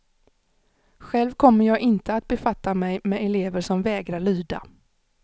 Själv kommer jag inte att befatta mig med elever som vägrar lyda.